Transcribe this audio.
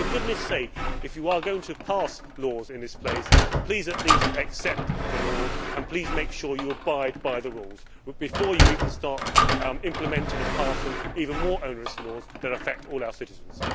For goodness sake, if you are going to pass laws in this place, please at least accept the laws and please make sure you abide by the rules before you start implementing and passing even more onerous laws that affect all our citizens.